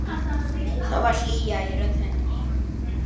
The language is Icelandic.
Það var hlýja í rödd hennar.